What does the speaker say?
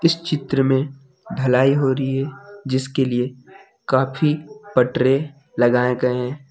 इस चित्र में ढलाई हो रही है जिसके लिए काफी पटरे लगाए गए हैं।